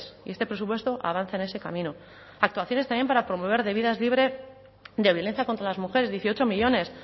y este presupuesto avanza en ese camino actuaciones también para promover de vidas libres de violencia contra las mujeres dieciocho millónes